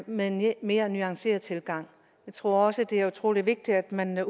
med en mere nuanceret tilgang jeg tror også det er utrolig vigtigt at man